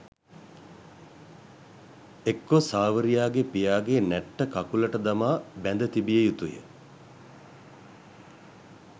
එක්කෝ සාවරියාගේ පියාගේ නැට්ට කකුලට දමා බැඳ තැබිය යුතුය